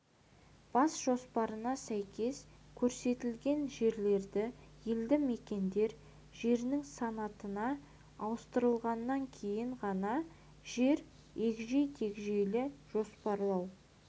бас жоспарына сәйкес көрсетілген жерлерді елді мекендер жерінің санатына ауыстырғаннан кейін ғана және егжей-тегжейлі жоспарлау